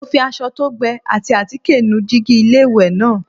Mo fi aṣọ tó gbẹ ati àtíkè nu jígí inú iléwẹ̀ náà.